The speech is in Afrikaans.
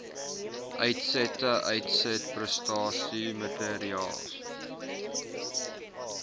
uitsette uitsetprestasie maatreëls